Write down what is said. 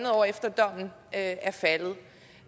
år efter at er faldet